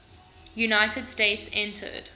united states entered